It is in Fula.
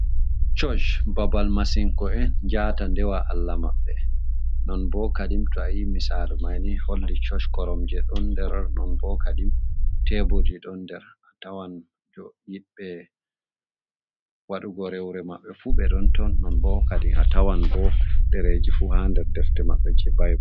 Chosh babal masinko'en njata ndewa Allah maɓɓe. Non bo kadim to ayi misalu manni holli choch koromje ɗon nder, non bo kadi teburji ɗon nder, atawan jo yiɗɓe waɗugo rewre maɓɓe fu ɓe ɗon ton, non bo kadi atawan bo ɗereji fu ha nder defte maɓɓe je baibul.